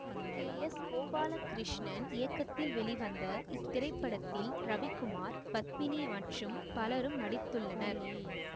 K S Gopalakrishnan இயக்கத்தில் வெளிவந்த இத்திரைப்படத்தில் ரவிகுமார் பத்மினி மற்றும் பலரும் நடித்துள்ளனர்